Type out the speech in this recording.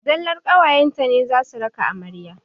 Zallar ƙawayen ta ne za su raka amarya.